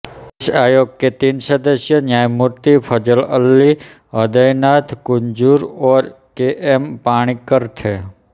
इस आयोग के तीन सदस्य न्यायमूर्ति फजल अली हृदयनाथ कुंजरू और केएम पाणिक्कर थे